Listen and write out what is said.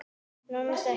En annars ekki.